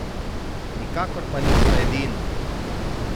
Nikakor pa niso edina!